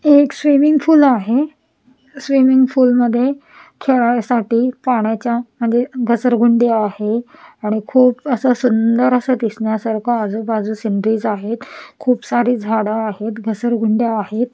एक swimming pool आहे swimming pool मध्ये खेळायसाठी पाण्याच्या म्हणजेच घसरगुंडी आहे आणि खूप असं सुंदर असं दिसण्यासारख आजूबाजू सिनरीज आहेत खूप सारी झाडं आहेत घसरगुंड्या आहेत.